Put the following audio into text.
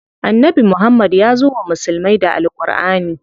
Annabi Muhammad yazo wa musulmai da Al Ƙurʼani.